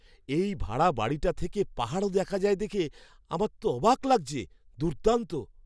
এই ভাড়া বাড়িটা থেকে পাহাড়ও দেখা যায় দেখে তো আমার অবাক লাগছে। দুর্দান্ত!